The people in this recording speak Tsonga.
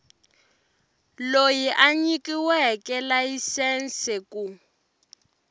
loyi a nyikiweke layisense ku